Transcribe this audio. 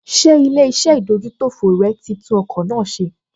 Ṣé ilé-iṣẹ́ ìdójútòfò rẹ̀ tí tún ọkọ̀ náà ṣe?